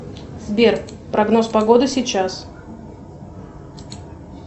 сбер прогноз погоды сейчас